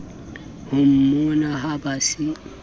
ho mmona ha ba se